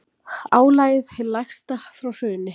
Álagið hið lægsta frá hruni